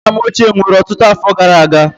Nna m ochie nwụrụ ọtụtụ afọ gara aga.